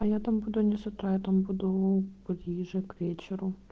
я там буду не с утра я там буду ближе к вечеру